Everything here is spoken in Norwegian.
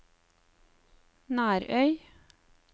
Nærøy